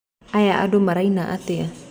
Aya andũ maraina atĩa?